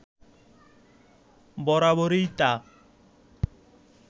বরাবরই তা